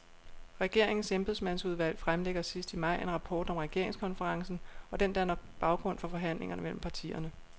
Regeringens embedsmandsudvalg fremlægger sidst i maj en rapport om regeringskonferencen, og den danner baggrund for forhandlingerne mellem partierne.